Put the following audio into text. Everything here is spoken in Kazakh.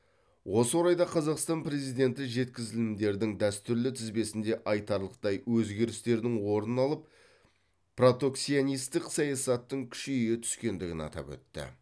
осы орайда қазақстан президенті жеткізілімдердің дәстүрлі тізбесінде айтарлықтай өзгерістердің орын алып протекционистік саясаттың күшейе түскендігін атап өтті